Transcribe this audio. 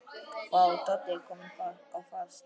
Vá, Doddi kominn á fast!